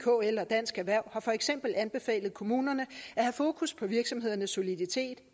kl og dansk erhverv har for eksempel anbefalet kommunerne at have fokus på virksomhedernes soliditet